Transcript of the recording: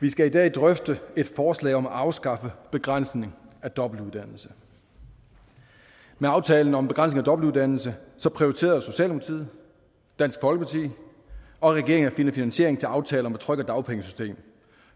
vi skal i dag drøfte et forslag om at afskaffe begrænsning af dobbeltuddannelse med aftalen om en begrænsning af dobbeltuddannelse prioriterede socialdemokratiet dansk folkeparti og regeringen at finde finansiering til aftale om et tryggere dagpengesystem